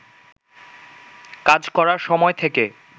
কাজ করার সময় থেকে